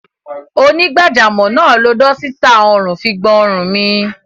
Onígbàjamọ̀ náà lo dọ́sítà ọrùn fi gbọn ọrùn mi.